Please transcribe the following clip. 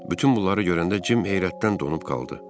Bütün bunları görəndə Jim heyrətdən donub qaldı.